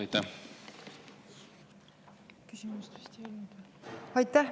Aitäh!